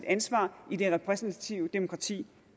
ansvaret i det repræsentative demokrati